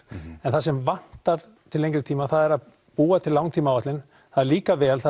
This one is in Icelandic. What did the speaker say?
en það sem vantar til lengri tíma er að búa til langtímaáætlun það er líka vel